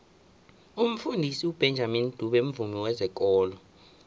umfundisi ubenjamini dube mvumi wezekolo